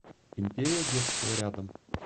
империя детства рядом